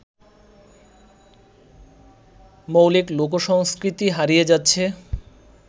মৌলিক লোকসংস্কৃতি হারিয়ে যাচ্ছে